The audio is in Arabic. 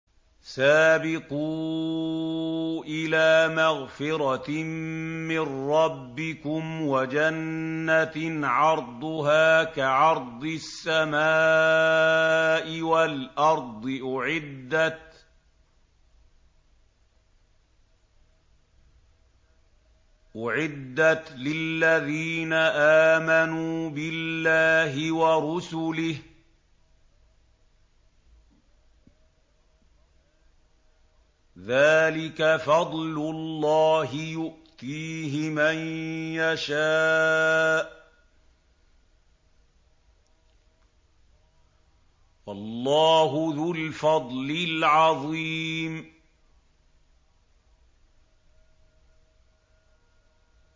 سَابِقُوا إِلَىٰ مَغْفِرَةٍ مِّن رَّبِّكُمْ وَجَنَّةٍ عَرْضُهَا كَعَرْضِ السَّمَاءِ وَالْأَرْضِ أُعِدَّتْ لِلَّذِينَ آمَنُوا بِاللَّهِ وَرُسُلِهِ ۚ ذَٰلِكَ فَضْلُ اللَّهِ يُؤْتِيهِ مَن يَشَاءُ ۚ وَاللَّهُ ذُو الْفَضْلِ الْعَظِيمِ